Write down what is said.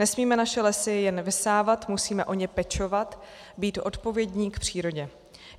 Nesmíme naše lesy jen vysávat, musíme o ně pečovat, být odpovědní k přírodě.